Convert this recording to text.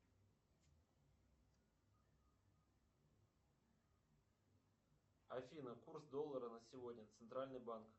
афина курс доллара на сегодня центральный банк